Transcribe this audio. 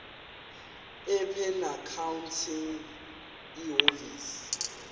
ibe noaccounting ihhovisir